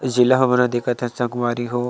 जिला हमन ह देखत हन संगवारी हो--